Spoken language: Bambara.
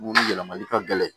Mun yɛlɛmali ka gɛlɛn